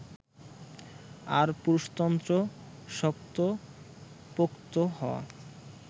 আর পুরুষতন্ত্র শক্তপোক্ত হওয়া